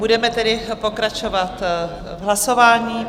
Budeme tedy pokračovat v hlasování.